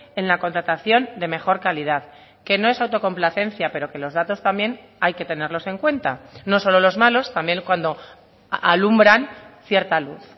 en la contratación de mejor calidad que no es autocomplacencia pero que los datos también hay que tenerlos en cuenta no solo los malos también cuando alumbran cierta luz